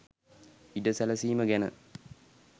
ඉඩ සැලසීම ගැන